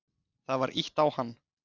Það var ýtt á hann.